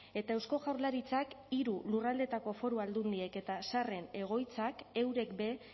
eta eusko jaurlaritzak hiru lurraldeetako foru aldundiek eta zaharren egoitzak eurek be